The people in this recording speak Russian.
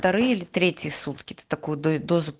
вторые или третьи сутки такую дозу